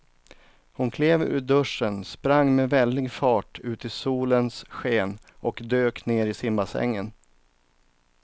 Hon klev ur duschen, sprang med väldig fart ut i solens sken och dök ner i simbassängen.